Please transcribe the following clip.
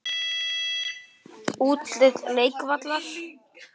Útlit leikvallar?